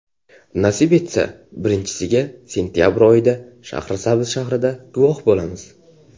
Nasib etsa, birinchisiga sentabr oyida Shahrisabz shahrida guvoh bo‘lamiz.